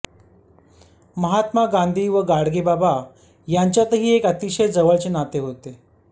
महात्मा गांधी व गाडगेबाबा यांच्यातही एक अतिशय जवळचे नाते होते